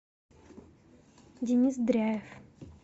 денис дряев